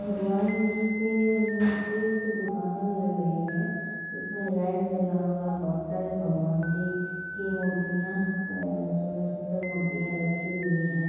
भगवान जी के मूर्तियों की दुकाने लागायी है जिसमे लाइट ज्वला हुआ बहुत सारे भगवान जी की मूर्तियां आ सुंदर सुंदर मूर्तियां रखी हुई है।